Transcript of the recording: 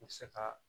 I bɛ se ka